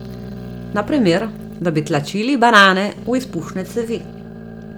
Na primer, da bi tlačili banane v izpušne cevi.